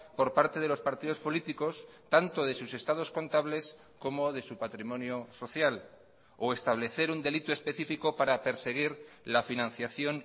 por parte de los partidos políticos tanto de sus estados contables como de su patrimonio social o establecer un delito específico para perseguir la financiación